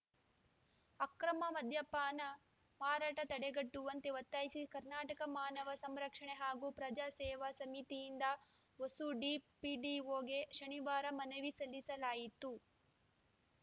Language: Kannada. ಅಕ್ರಮ ಮದ್ಯಪಾನ ಮಾರಾಟ ತಡೆಗಟ್ಟುವಂತೆ ಒತ್ತಾಯಿಸಿ ಕರ್ನಾಟಕ ಮಾನವ ಸಂರಕ್ಷಣೆ ಹಾಗೂ ಪ್ರಜಾ ಸೇವಾ ಸಮಿತಿಯಿಂದ ಹೊಸೂಡಿ ಪಿಡಿಒಗೆ ಶನಿವಾರ ಮನವಿ ಸಲ್ಲಿಸಲಾಯಿತು